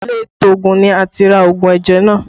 Ilé ìtoògùn ni a ti ra òògùn ẹ̀jẹ̀ náà